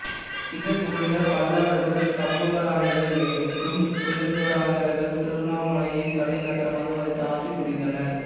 சிதறுண்ட பல்லவர்கள் சம்புவராயர்கள் என்றும் சுயம்புவராயர்கள் திருவண்ணாமலையைத் தலைநகராமாக வைத்து ஆட்சி புரிந்தனர்